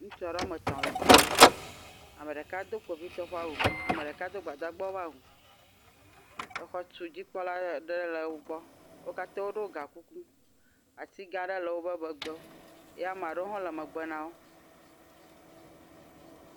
Ŋutsu aɖe woame tɔ̃ le fi ya. Ame ɖeka do kpovitɔ ƒe awu ame ɖeka do gbadagbawo ƒe awu, exɔtudzikpɔla aɖe le wo gbɔ. Wo katã woɖo gakuku. Ati gã aɖe le woƒe megbe ye ame aɖewo hãwo le megbe na wo.